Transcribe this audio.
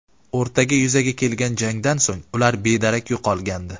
O‘rtada yuzaga kelgan jangdan so‘ng ular bedarak yo‘qolgandi.